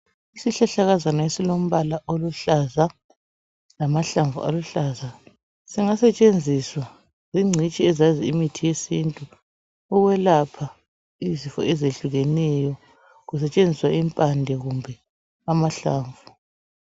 Isihlahlakazana esilombala oluhlaza lamahlamvu aluhlaza singasetshenziswa zingcitshi ezazi imithi yesintu ukwelapha izifo ezihlukeneyo kusetshenziswa impande kumbe amahlamvu.